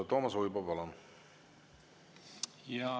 Toomas Uibo, palun!